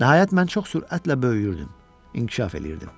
Nəhayət mən çox sürətlə böyüyürdüm, inkişaf eləyirdim.